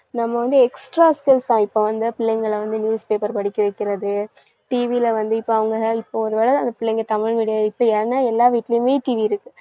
நம்ம வந்து extra skills தான். இப்ப வந்து பிள்ளைங்கள வந்து newspaper படிக்க வைக்கிறது, TV ல வந்து இப்ப அவங்க~, இப்ப ஒரு வேளை அந்த பிள்ளைங்க தமிழ் medium இப்ப ஏன்னா எல்லாரு வீட்லயுமே TV இருக்கு